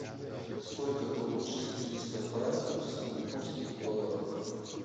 сколько получится триста франков в сингапурских долларах